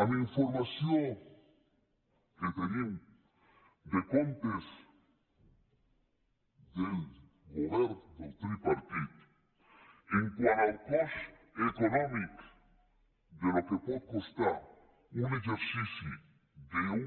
amb informació que tenim de comptes del govern del tripartit quant al cost econòmic del que pot costar un exercici d’un